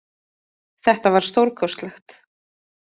Þetta var stórkostlegt